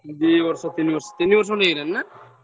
ଦି ବର୍ଷ ତିନି ବର୍ଷ ତିନି ବର୍ଷ ଖଣ୍ଡେ ହେଇଗଲାଣି ନା?